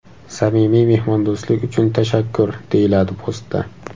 Samimiy mehmondo‘stlik uchun tashakkur”, deyiladi postda.